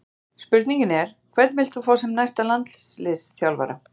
Spurningin er: Hvern vilt þú fá sem næsta landsliðsþjálfara?